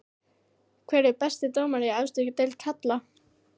Hver er besti dómarinn í efstu deild karla?